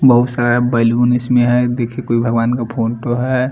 बहुत सारा बैलून इसमें हैं देखिये कोई भगवान का फोटो हैं।